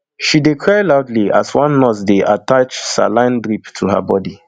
she dey cry loudly as one nurse dey attach saline drip to her body